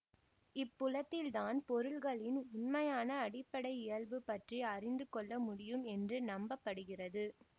இப்புலத்தில் தான் பொருள்களின் உண்மையான அடிப்படை இயல்பு பற்றி அறிந்து கொள்ள முடியும் என்று நம்ப படுகிறது